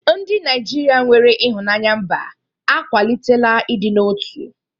Ndị Naijiria nwere ịhụnanya mba akwalitela ịdị n'otu.